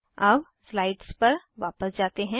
अब स्लाइड्स पर वापस जाते हैं